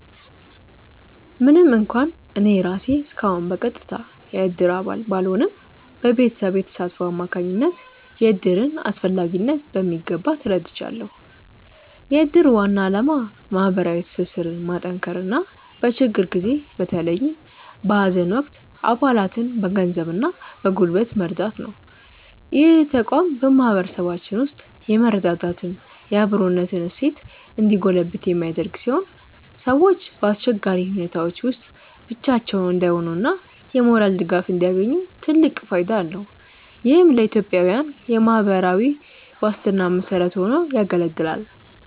ምንም እንኳን እኔ ራሴ እስካሁን በቀጥታ የእድር አባል ባልሆንም፣ በቤተሰቤ ተሳትፎ አማካኝነት የእድርን አስፈላጊነት በሚገባ ተረድቻለሁ። የእድር ዋና ዓላማ ማህበራዊ ትስስርን ማጠናከርና በችግር ጊዜ በተለይም በሀዘን ወቅት አባላትን በገንዘብና በጉልበት መርዳት ነው። ይህ ተቋም በማህበረሰባችን ውስጥ የመረዳዳትና የአብሮነት እሴት እንዲጎለብት የሚያደርግ ሲሆን፣ ሰዎች በአስቸጋሪ ሁኔታዎች ውስጥ ብቻቸውን እንዳይሆኑና የሞራል ድጋፍ እንዲያገኙ ትልቅ ፋይዳ አለው። ይህም ለኢትዮጵያዊያን የማህበራዊ ዋስትና መሰረት ሆኖ ያገለግላል።